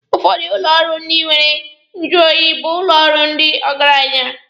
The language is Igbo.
Ụfọdụ ụlọ ọrụ ndị nwere nyụ oyi bụ ụlọ ọrụ ndị ọgaranya.